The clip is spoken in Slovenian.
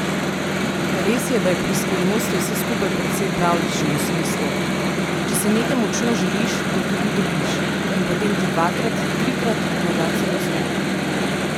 Res je, da je pri Skrivnosti vse skupaj precej pravljično, v smislu: 'Če si nekaj močno želiš, to tudi dobiš', in potem ti dvakrat, trikrat morda celo uspe.